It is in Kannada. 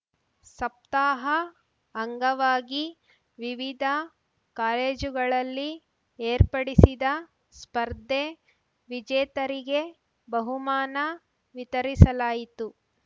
ಸಪ್ತಾಹ ಅಂಗವಾಗಿ ವಿವಿಧ ಕಾಲೇಜುಗಳಲ್ಲಿ ಏರ್ಪಡಿಸಿದ ಸ್ಪರ್ಧೆ ವಿಜೇತರಿಗೆ ಬಹುಮಾನ ವಿತರಿಸಲಾಯಿತು